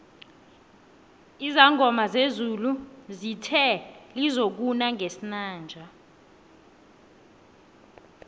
izangoma zezulu zithe lizokuna ngesinanje